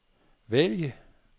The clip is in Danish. vælg